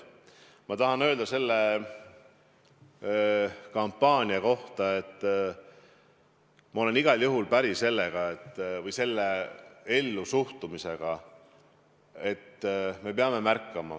Ma tahan selle kampaania kohta öelda, et ma olen igal juhul päri selle ellusuhtumisega, et me peame märkama.